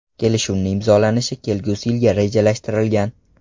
Kelishuvni imzolanishi kelgusi yilga rejalashtirilgan.